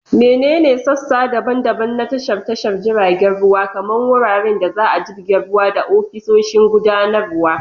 Menene sassa daban-daban na tashar tashar jiragen ruwa, kamar wuraren da za a jibge ruwa da ofisoshin gudanarwa?